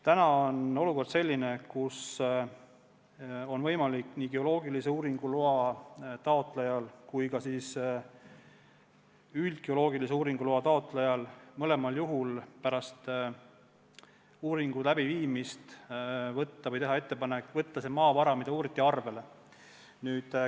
Täna on olukord selline, kus on võimalik nii geoloogilise uuringu kui ka üldgeoloogilise uurimistöö loa taotlejal, mõlemal, pärast uuringu tegemist teha ettepanek võtta see maavara, mida uuriti, arvele.